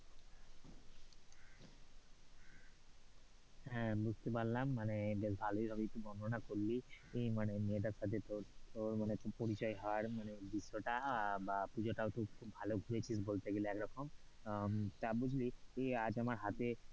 হ্যাঁ বুঝতে পারলাম মানে বেশ ভালোভাবেই তুই বর্ণনা করলি ওই মানে মেয়েটার সাথে তোর পরিচয় হওয়ার মানে দৃশ্যটা বা পুজো টা খুব ভালো ঘুরেছিস বলতে গেলে এক রকম তা বুঝলে আজ আমার হাতে,